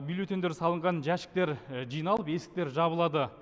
бюлеттеньдер салынған жәшіктер жиналып есіктер жабылады